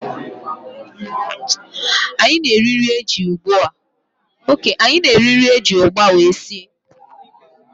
Anyị na-eri nri eji ụgba wee sie